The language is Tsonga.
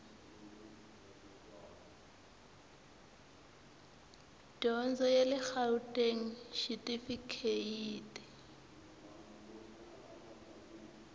dyondzo ya le gauteng xitifikheyiti